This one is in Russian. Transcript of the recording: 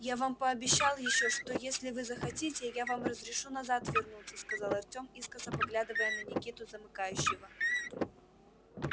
я вам пообещал ещё что если вы захотите я вам разрешу назад вернуться сказал артём искоса поглядывая на никиту замыкающего